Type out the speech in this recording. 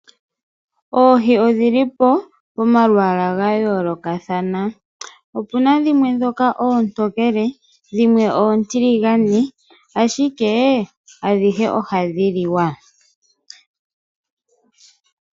Oohi odhilipo pomalwaalwa ga yoolokathana . Opuna oontokele noontiligane ashike adhihe ohadhi liwa.